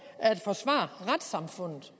at forsvare retssamfundet